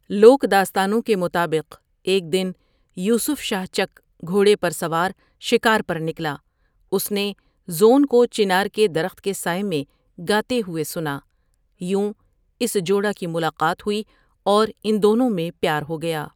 لوک داستانوں کے مطابق ، ایک دن یوسف شاہ چک گھوڑے پر سوار شکار پر نکلا اس نے زون کو چنار کے درخت کے سائے میں گاتے ہوئے سنا، یوں اس جوڑا کی ملاقات ہوئی اور ان دونوں میں پیار ہو گیا ۔